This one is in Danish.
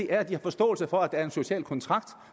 er at de har forståelse for at der er en social kontrakt